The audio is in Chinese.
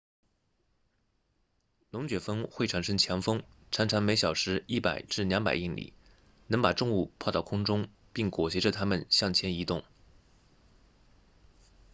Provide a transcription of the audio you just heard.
龙卷风会产生强风常常每小时 100-200 英里能把重物抛到空中并裹挟着它们向前移动